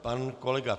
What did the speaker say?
Pan kolega